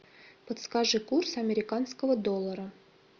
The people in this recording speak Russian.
подскажи курс американского доллара